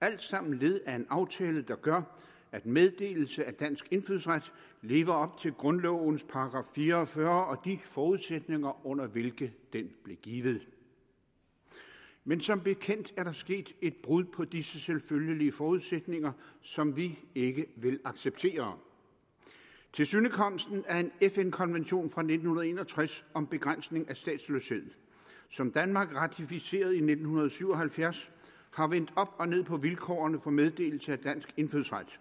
alt sammen led i en aftale der gør at meddelelse af dansk indfødsret lever op til grundlovens § fire og fyrre og de forudsætninger under hvilke den blev givet men som bekendt er der sket et brud på disse selvfølgelige forudsætninger som vi ikke vil acceptere tilsynekomsten af en fn konvention fra nitten en og tres om begrænsning af statsløshed som danmark ratificerede i nitten syv og halvfjerds har vendt op og ned på vilkårene for meddelelse af dansk indfødsret